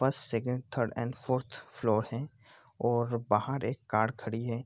First second और third fourth floor है और बाहर एक कार खड़ी है।